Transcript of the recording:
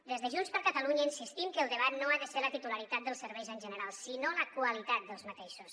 des de junts per catalunya insistim que el debat no ha de ser la titularitat dels serveis en general sinó la qualitat dels mateixos